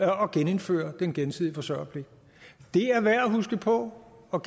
at genindføre den gensidige forsørgerpligt det er værd at huske på og